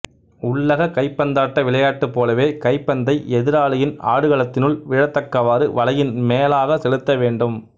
உள்ளக கைப்பந்தாட்ட விளையாட்டுப் போலவே கைப்பந்தை எதிராளியின் ஆடுகளத்தினுள் விழத்தக்கவாறு வலையின் மேலாக செலுத்த வேண்டும்